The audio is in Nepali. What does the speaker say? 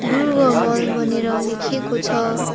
दुर्गा मल भनेर लेखिएको छ।